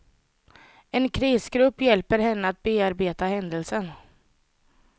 En krisgrupp hjälper henne att bearbeta händelsen.